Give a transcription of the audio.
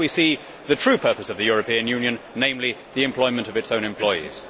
Thus we see the true purpose of the European Union, namely, the employment of its own employees.